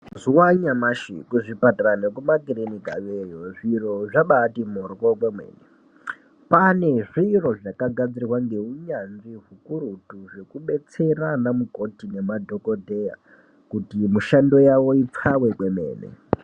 Mazuva anyamashi ku zvipatara ne kuma kirinika yoyo zviro zvabaiti moryo kwemene kwane zviro zvaka gadzirwa nge unyanzvi hukurutu zveku betsera ana mukoti nema dhokodheya kuti mushando wawo upfawe kwemene.